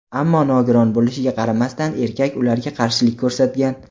Ammo nogiron bo‘lishiga qaramasdan erkak ularga qarshilik ko‘rsatgan.